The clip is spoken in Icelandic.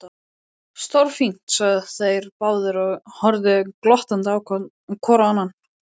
Stórfínt sögðu þeir báðir og horfðu glottandi hvor á annan.